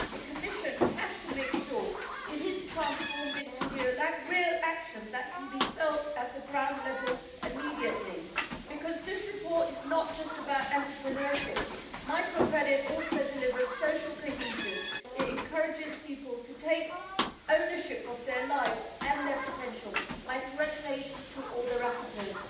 The Commission has to make sure this is transformed into real action that can be felt at the ground level immediately, because this report is not just about entrepreneurship microcredit also delivers social cohesion, and it encourages people to take ownership of their lives and their potential. My congratulations to all the rapporteurs.